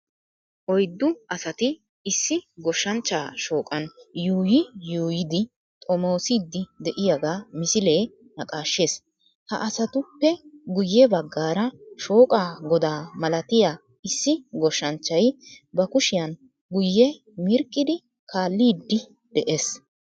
Oyddu asati issi goshshanchchaa shooqan yuuyi yuuyidi xomoosiiddi de"iyogaa misilee naqaashshees. Ha asatuppe guye baggaara shooqaa godaa malatiya issi goshshanchchay ba kushiyan guye mirqqidi kaalliiddi dees